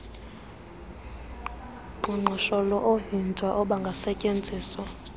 qoqosho oovimba obangasetyenziswa